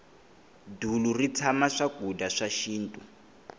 dulu ri tshama swakudya swa xinto